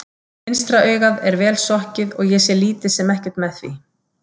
Vinstra augað er vel sokkið og ég sé lítið sem ekkert með því.